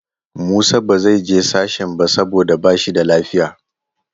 Musa ba zai je sashen ba saboda ba shi da lafiya.